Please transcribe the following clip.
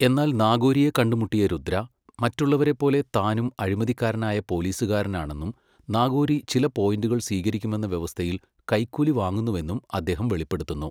എന്നാൽ നാഗോരിയെ കണ്ടുമുട്ടിയ രുദ്ര, മറ്റുള്ളവരെപ്പോലെ താനും അഴിമതിക്കാരനായ പോലീസുകാരനാണെന്നും നാഗോറി ചില പോയിന്റുകൾ സ്വീകരിക്കുമെന്ന വ്യവസ്ഥയിൽ കൈക്കൂലി വാങ്ങുന്നുവെന്നും അദ്ദേഹം വെളിപ്പെടുത്തുന്നു.